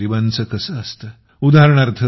आणि गरीबांचे काय असतं उदा